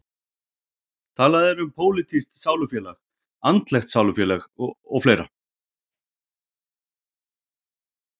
Talað er um pólitískt sálufélag, andlegt sálufélag og fleira.